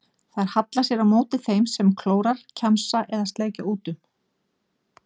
Þær halla sér á móti þeim sem klórar, kjamsa eða sleikja út um.